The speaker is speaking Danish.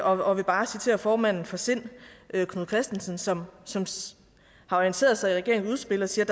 og vil bare citere formanden for sind knud kristensen som har orienteret sig i regeringens udspil og siger